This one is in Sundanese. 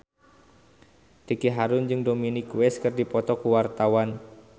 Ricky Harun jeung Dominic West keur dipoto ku wartawan